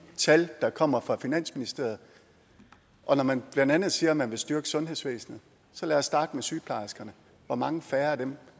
tal der kommer fra finansministeriet og når man blandt andet siger at man vil styrke sundhedsvæsenet så lad os starte med sygeplejerskerne hvor mange færre af dem